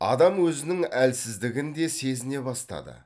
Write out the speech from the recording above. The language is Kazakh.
адам өзінің әлсіздігін де сезіне бастады